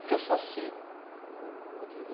Porque eu sou assim, o Rodrigo.